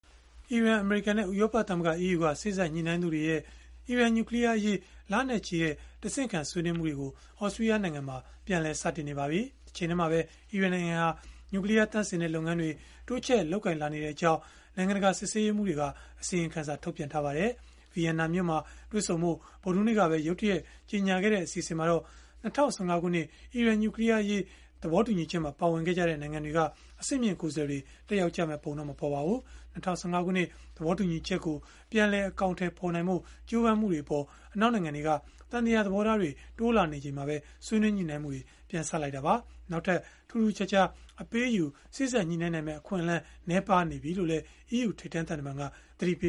အီရန်၊ အမေရိကန်နဲ့ ဥရောပသမဂ္ဂ (EU) က စေ့စပ်ညှိနှိုင်းသူတွေရဲ့ အီရန်နျူကလီးယားအရေး လနဲ့ချီတဲ့ တဆင့်ခံဆွေးနွေးမှုတွေကို သြစတြီးယား နိုင်ငံမှာ ပြန်လည်စတင်နေပါပြီ။ တချိန်တည်းမှာပဲ အီရန်နိုင်ငံဟာ နျူကလီးယားသန့်စင်တဲ့ လုပ်ငန်းတွေ တိုးချဲ့လုပ်ကိုင်လာနေကြောင်း နိုင်ငံတကာ စစ်ဆေးရေးမှူးတွေက အစီရင်ခံစာ ထုတ်ပြန်ထားပါတယ်။ Vienna မြို့မှာ တွေ့ဆုံဖို့ ဗုဒ္ဓဟူးနေ့ကပဲ ရုတ်တရက် ကြေညာခဲ့တဲ့ အစီအစဉ်မှာတော့ ၂၀၁၅ ခုနှစ် အီရန်နျူကလီးယားအရေး သဘောတူညီချက်မှာ ပါဝင်ခဲ့ကြတဲ့ နိုင်ငံတွေက အဆင့်မြင့် ကိုယ်စားလှယ်တွေ တက်ရောက်မယ့်ပုံ မပေါ်ပါဘူး။ ၂၀၁၅ ခုနှစ် သဘောတူညီချက်ကို ပြန်လည်အကောင်အထည် ဖော်နိုင်ဖို့ ကြိုးပမ်းမှုတွေအပေါ် အနောက်နိုင်ငံတွေက သံသယသဘောထားတွေ တိုးလာနေချိန်မှာပဲ ဆွေးနွေးညှိနှိုင်းမှုတွေ ပြန်စလိုက်တာပါ။ နောက်ထပ် ထူးထူးခြားခြား အပေးအယူစေ့စပ်နိုင်မယ့် အခွင့်အလန်း နည်းပါးနေပြီလို့လည်း EU ထိပ်တန်းသံတမန်က သတိပ